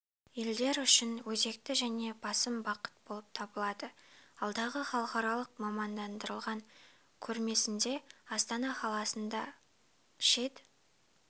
елдер үшін өзекті және басым бағыт болып табылады алдағы халықаралық мамандандырылған көрмесінде астана қаласында шет